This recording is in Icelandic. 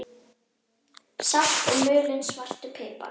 Salt og mulinn svartur pipar